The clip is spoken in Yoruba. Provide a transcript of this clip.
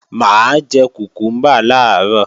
Mà á jẹ kùkúmbà làárọ̀